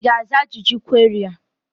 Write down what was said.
Ị ga-aza ajụjụ kweri a?